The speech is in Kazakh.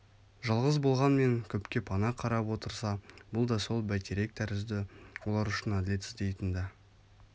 жалғыз болғанмен көпке пана қарап отырса бұл да сол бәйтерек тәрізді олар үшін әділет іздейтін да